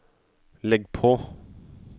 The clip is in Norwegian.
legg på